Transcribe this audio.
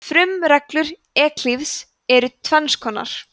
frumreglur evklíðs eru tvenns konar